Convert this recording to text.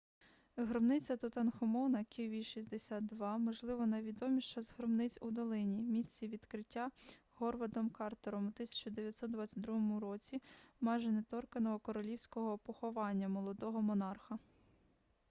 гробниця тутанхамона kv62. kv62 можливо найвідоміша з гробниць у долині місці відкриття говардом картером у 1922 році майже неторканого королівського поховання молодого монарха